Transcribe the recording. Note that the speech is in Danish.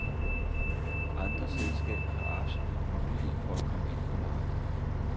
Andre selskaber har absolut mulighed for at komme ind på markedet.